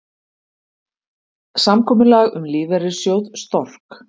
Samkomulag um lífeyrissjóð Stork